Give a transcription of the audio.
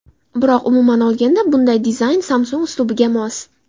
Biroq umuman olganda bunday dizayn Samsung uslubiga mos.